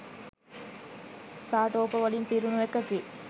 සාටෝප වලින් පිරුණු එකකි